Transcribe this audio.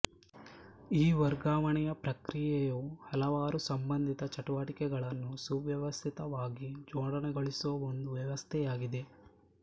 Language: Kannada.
ಈ ವರ್ಗಾವಣೆಯ ಪ್ರಕ್ರಿಯೆಯು ಹಲವಾರು ಸಂಬಂಧಿತ ಚಟುವಟಿಕೆಗಳನ್ನು ಸುವ್ಯವಸ್ಥಿತವಾಗಿ ಜೋಡಣೆಗೊಳಿಸುವ ಒಂದು ವ್ಯವಸ್ಥೆಯಾಗಿದೆ